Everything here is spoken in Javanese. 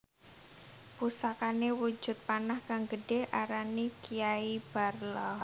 Pusakane wujud panah kang gedhe arane Kiai Barla